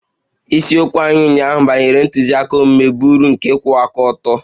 Isiokwu anyị ụnyaahụ banyere ntụziaka omume bụ uru nke ịkwụwa aka ọtọ